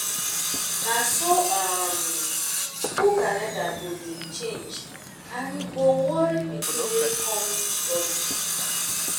na so um skool calender go dey change and e go worry pikin wey kom study